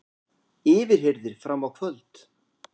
Yfirheyrðir fram á kvöld